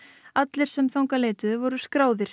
allir sem þangað leituðu voru skráðir